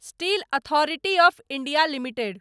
steel authority of India limited